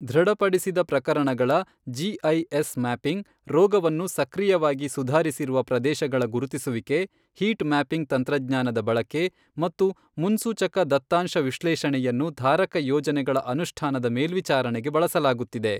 ದೃಢಪಡಿಸಿದ ಪ್ರಕರಣಗಳ GIS mapping, ರೋಗವನ್ನು ಸಕ್ರಿಯವಾಗಿ ಸುಧಾರಿಸಿರುವ ಪ್ರದೇಶಗಳ ಗುರುತಿಸುವಿಕೆ, ಹೀಟ್ ಮ್ಯಾಪಿಂಗ್ ತಂತ್ರಜ್ಞಾನದ ಬಳಕೆ ಮತ್ತು ಮುನ್ಸೂಚಕ ದತ್ತಾಂಶ ವಿಶ್ಲೇಷಣೆಯನ್ನು ಧಾರಕ ಯೋಜನೆಗಳ ಅನುಷ್ಠಾನದ ಮೇಲ್ವಿಚಾರಣೆಗೆ ಬಳಸಲಾಗುತ್ತಿದೆ.